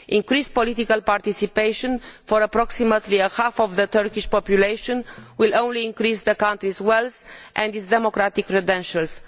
Increased political participation for approximately half of the Turkish population will only increase the country's wealth and its democratic credentials.